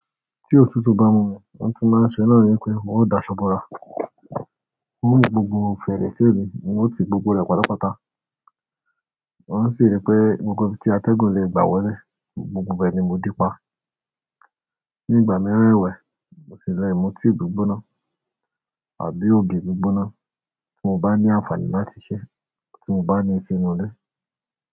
Tí òtútù bá mú mi, oun tí máa ṣẹ náà ni wípé n ó dasọbọra. Mo mú gbogbo fèrèsé mi, n o ti gbogbo rẹ̀ pátápátá. Mo n si rí pé gbogbo ibi tí atẹ́gùn lè gbà wọlé, gbogbo bẹ́ẹ̀ ni mo dípa. Ní ìgbà mìíràn ẹwẹ̀, mo sì le mu tea gbígbóná tàbí ògì gbígbóná tí mo bá ní àǹfàní láti ṣé, tí mo bá ní sínú ilé.